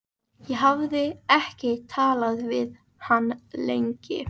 Ég hafði ekki talað við hann lengi.